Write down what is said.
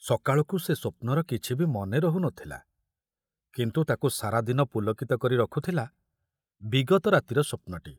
ସକାଳକୁ ସେ ସ୍ବପ୍ନର କିଛି ବି ମନେ ରହୁ ନଥୁଲା, କିନ୍ତୁ ତାକୁ ସାରା ଦିନ ପୁଲକିତ କରି ରଖୁଥୁଲା ବିଗତ ରାତିର ସ୍ୱପ୍ନଟି।